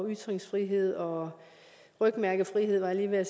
ytringsfrihed og rygmærkefrihed var